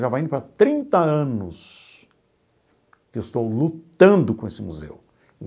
Já vai indo para trinta anos que eu estou lutando com esse museu.